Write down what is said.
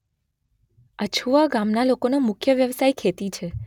અછુવા ગામના લોકોનો મુખ્ય વ્યવસાય ખેતી છે.